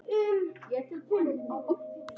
Og stóðst prófið með glans.